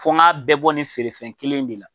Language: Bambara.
Fo n ka bɛɛ bɔ nin feerefɛn kelen in de la.